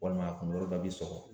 Walima a kunkolo da bi sɔgɔ